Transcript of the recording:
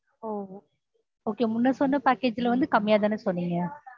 ஆஹ் முன்னாடிசொன்ன package ல வந்து கம்மியாதான சொன்னீங்க?